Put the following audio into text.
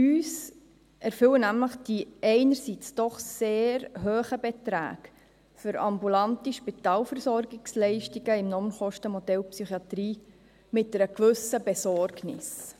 Uns erfüllen die einerseits doch sehr hohen Beträge für ambulante Spitalversorgungsleistungen im Normkostenmodell der Psychiatrie mit einer gewissen Besorgnis.